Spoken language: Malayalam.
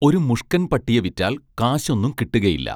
ഒരു മുഷ്കൻ പട്ടിയെ വിറ്റാൽ കാശൊന്നും കിട്ടുകയില്ല